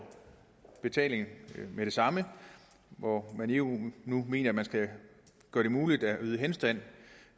betaling med det samme hvor man i eu nu mener at man skal gøre det muligt at yde henstand